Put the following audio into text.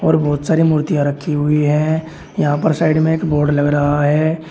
और बहोत सारी मूर्तियां रखी हुई हैं यहां पर साइड में एक बोर्ड लग रहा है।